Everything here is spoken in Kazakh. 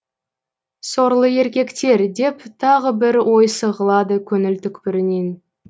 сорлы еркектер деп тағы бір ой сығалады көңіл түкпірінен